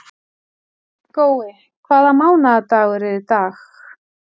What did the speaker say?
Gói, hvaða mánaðardagur er í dag?